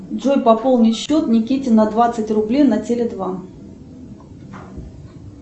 джой пополни счет никите на двадцать рублей на теле два